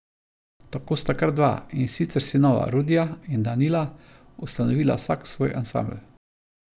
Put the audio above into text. Tako sta kar dva, in sicer sinova Rudija in Danila, ustanovila vsak svoj ansambel.